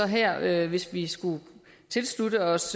her hvis vi skulle tilslutte os